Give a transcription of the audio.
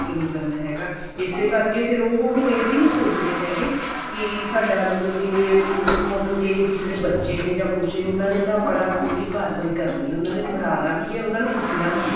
book ਨਹੀਂ ਕਰਨਾ ਹੈਗਾ ਇਸੇ ਕਰਕੇ ਫ਼ੇਰ ਉਹ ਹੁਣ ਇਹ ਵੀ ਨਹੀਂ ਸੋਚਦੇ ਹੈਗੇ ਕੀ ਸਾਡਾ ਮਤਲਬ ਕੇ ਮਤਲਬ ਕੇ ਅਸੀਂ ਕਿਸੇ ਦੇ ਬੱਚੇ ਨੇ ਜਾਂ ਕੁੱਛ ਉਹਨਾ ਨੇ ਆਪਣਾ ਪੂਰੀ ਕਰਵਾਈ ਕਰਨੀ ਏ ਉਹਨਾ ਨੇ ਫੜਾਨਾ ਵੀ ਏ ਉਹਨਾ ਨੂੰ ਕੁੱਟਣਾ ਵੀ ਏ